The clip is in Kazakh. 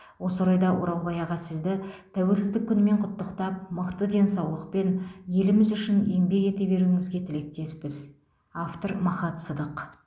осы орайда оралбай аға сізді тәуелсіздік күнімен құтықтап мықты денсаулықпен еліміз үшін еңбек ете беруіңізге тілектеспіз автор махат садық